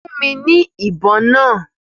Fún mi ní ibon náà!